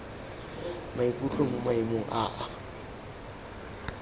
maikutlo mo maemong a a